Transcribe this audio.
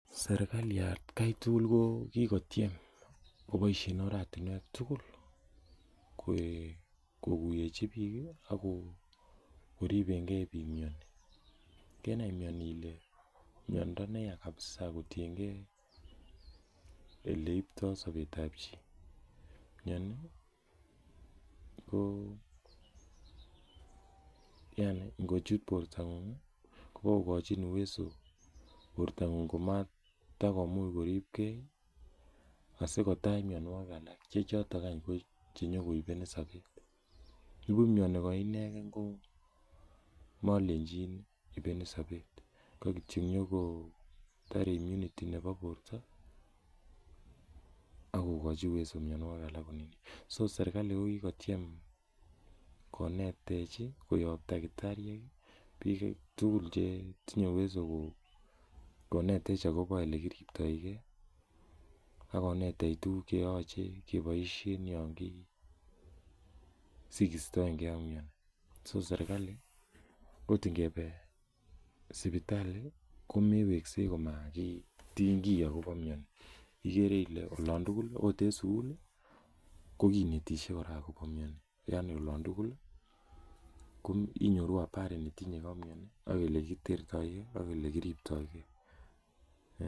Sirkali atkai tugul ko kikotechi bik koriben ke miani, kenai miani ele miando neyae kabisa kotienge oleibto sabetab chi. Miani ko yaani ingochit bortang'ung ih kobogogochin huwezo bortang'ung ko matakomuch koribke aikotach mianogig alak, chechoto konyokoibenin sabet. Nibuch miani koinegen ko malenchin ibenin sabet ka kityo inyogo tare imunity nebo borta ih , akokachi huwezo mianikik alak serkali ko kokotiem konetech ih ak takitariek bik tugul che inatech akobo olekiribtage . Akonetech tuguk cheyache kebaisien Yoon ki siistaege ak miani. Serkali akot ingebe sipitali komeweksei komakitinyki Okot. Ikere Ile olon tugul akot en sugul ih , ko kinetisie ako miani. Anni olan tugul inyoru habari netinyege ak miani. Ak elekitertoge ak elekiribtoge.